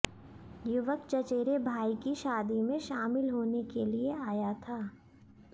युवक चचेरे भाई की शादी में शामिल होने के लिए आया था